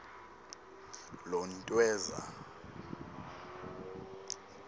lontweza